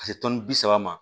Ka se tɔnni bi saba ma